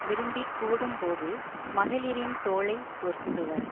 விரும்பிக்கூடும் போது மகளிரின் தோளை பொருந்துவர்